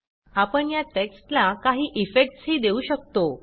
आपण या टेक्स्टला काही इफेक्ट्स ही देऊ शकतो